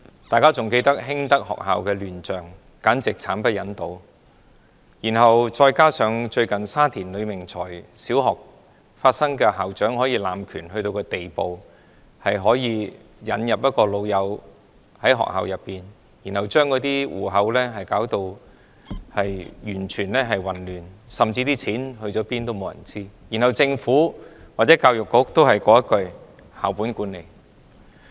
大家還記得興德學校的亂象，簡直慘不忍睹；再加上最近浸信會沙田圍呂明才小學事件，校長濫權的地步到了聘請自己的好朋友、混亂學校帳目、錢去了哪裏沒有人知道，而政府或教育局也只是說"校本管理"。